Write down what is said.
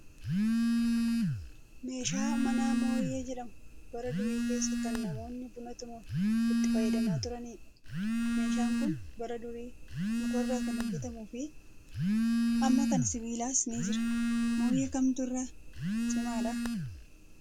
Meeshaan manaa mooyyee jedhamu bara durii keessa kan namoonni buna tumuuf itti fayyadamaa turanidha. Meeshaan kun bara durii mukarraa kan hojjatamuu fi amma kan sibiilaas ni jira. Mooyyee kamtu irra cimaadhaa?